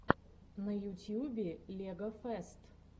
на ютьюбе легофест